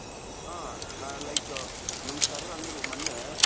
ಹ like ನಮ್ಮ sir ಅಂದ್ರು ಮೊನ್ನೆ,